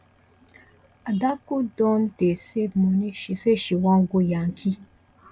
adaku don dey save moni she say she wan go yankee